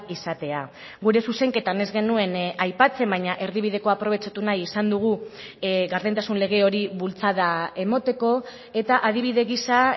izatea gure zuzenketan ez genuen aipatzen baina erdibidekoa aprobetxatu nahi izan dugu gardentasun lege hori bultzada emateko eta adibide gisa